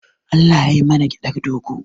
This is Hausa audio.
Allah yai mana gyaɗar dogo.